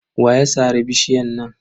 Wa ya sare bishiyar nan?